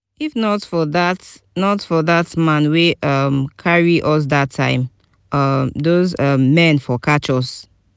if not for dat not for dat man wey um come carry us dat time um those um men for catch us